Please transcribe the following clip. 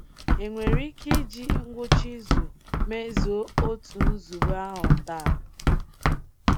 E nwere ike iji ngwụcha izu mezuo otu nzube ahụ taa?